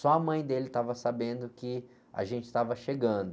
Só a mãe dele estava sabendo que a gente estava chegando.